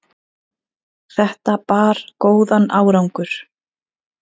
þetta bar góðan árangur